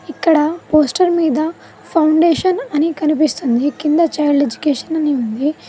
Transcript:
ఇక్కడ పోస్టర్ మీద ఫౌండేషన్ అని కనిపిస్తుంది కింద చైల్డ్ ఎడ్యుకేషన్ అని ఉంది.